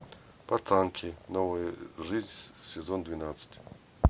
пацанки новая жизнь сезон двенадцать